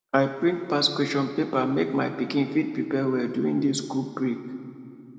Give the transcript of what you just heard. i print past question papers make my pikin fit prepare well during this school break